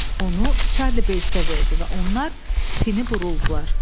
Onu Çarli Beysə verdi və onlar tini buruldular.